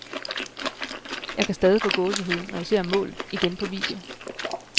Jeg kan stadig få gåsehud, når jeg ser målet igen på video.